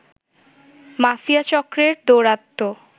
mafia চক্রের দৌরাত্ম